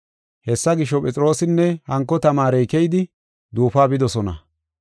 Hessa gisho, Phexroosinne hanko tamaarey keyidi duufuwa bidosona.